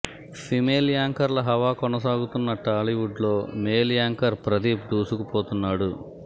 female యాంకర్ల హవా కొనసాగుతున్న టాలీవుడ్ లో మేల్ యాంకర్ ప్రదీప్ దూసుకుపోతున్నాడు